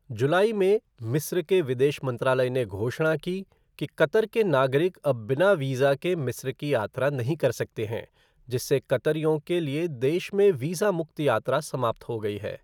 जुलाई में, मिस्र के विदेश मंत्रालय ने घोषणा की कि कतर के नागरिक अब बिना वीज़ा के मिस्र की यात्रा नहीं कर सकते हैं, जिससे कतरियों के लिए देश में वीज़ा मुक्त यात्रा समाप्त हो गई है।